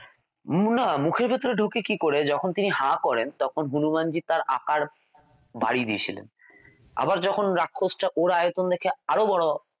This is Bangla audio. না মুখের ভেতরে ঢোকে কী করে যখন তিনি হা করেন তখন হনুমানজি তার আকার বাড়িয়ে দিয়েছিলেন আবার যখন রাক্ষসটা ওর আয়তন দেখে আরও বড়ো